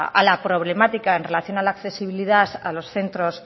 a la problemática en relación a la accesibilidad a los centros